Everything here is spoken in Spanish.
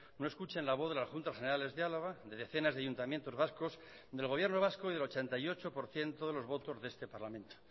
no escuchen la voz de las juntas generales de álava de decenas de ayuntamientos vascos del gobierno vasco y del ochenta y ocho por ciento de los votos de este parlamento